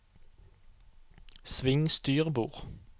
sving styrbord